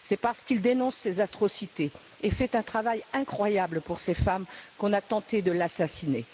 C'est parce qu'il dénonce ces atrocités et fait un travail incroyable pour ces femmes, qu'on a tenté de l'assassiner.